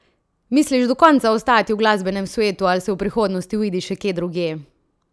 Misliš do konca ostati v glasbenem svetu ali se v prihodnosti vidiš še kje drugje?